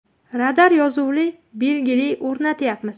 Radar yozuvli belgili o‘rnatyapmiz.